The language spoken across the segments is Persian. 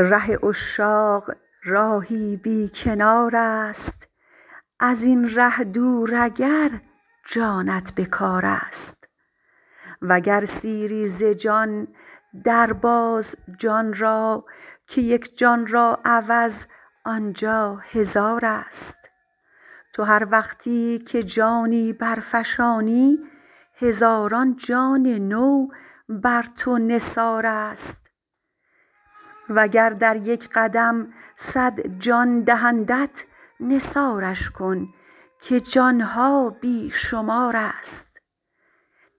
ره عشاق راهی بی کنار است ازین ره دور اگر جانت به کار است وگر سیری ز جان در باز جان را که یک جان را عوض آنجا هزار است تو هر وقتی که جانی برفشانی هزاران جان نو بر تو نثار است وگر در یک قدم صد جان دهندت نثارش کن که جان ها بی شمار است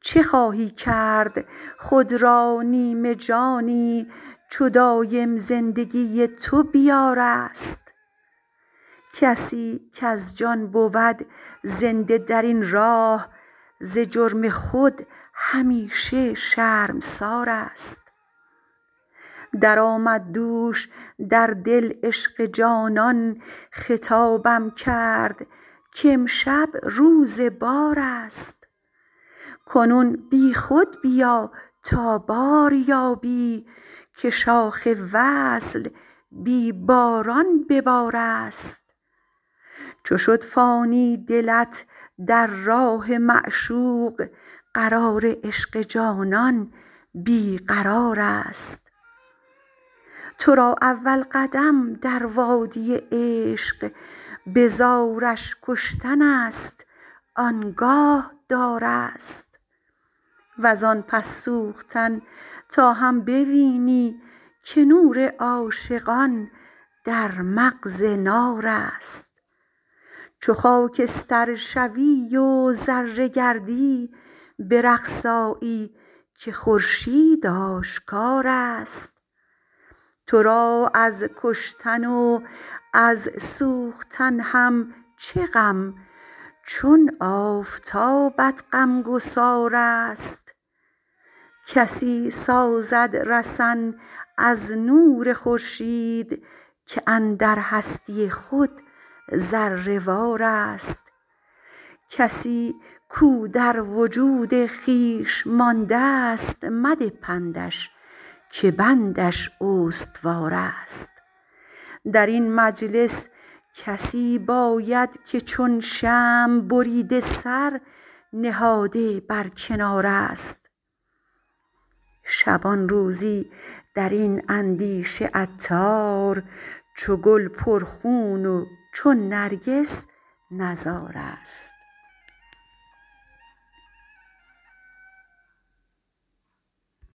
چه خواهی کرد خود را نیم جانی چو دایم زندگی تو به بار است کسی کز جان بود زنده درین راه ز جرم خود همیشه شرمسار است درآمد دوش در دل عشق جانان خطابم کرد کامشب روز بار است کنون بی خود بیا تا بار یابی که شاخ وصل بی باران به بار است چو شد فانی دلت در راه معشوق قرار عشق جانان بی قرار است تو را اول قدم در وادی عشق به زارش کشتن است آنگاه دار است وزان پس سوختن تا هم بوینی که نور عاشقان در مغز نار است چو خاکستر شوی و ذره گردی به رقص آیی که خورشید آشکار است تو را از کشتن و وز سوختن هم چه غم چون آفتابت غمگسار است کسی سازد رسن از نور خورشید که اندر هستی خود ذره وار است کسی کو در وجود خویش ماندست مده پندش که بندش استوار است درین مجلس کسی باید که چون شمع بریده سر نهاده بر کنار است شبانروزی درین اندیشه عطار چو گل پر خون و چون نرگس نزار است